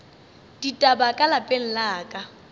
ditaba ka lapeng la ka